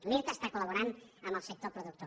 l’irta està col·laborant amb el sector productor